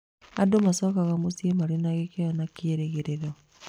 Andũ maacokaga mũciĩ mena gĩkeno na kĩĩrĩgĩrĩro.